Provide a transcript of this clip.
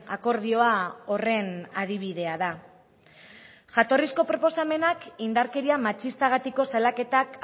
akordioa horren adibidea da jatorrizko proposamenak indarkeria matxistagatiko salaketak